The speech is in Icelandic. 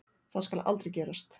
Það skal aldrei gerast.